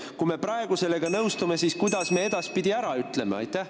Kui me praegu sellega nõustume, siis kuidas me edaspidi ära ütleme?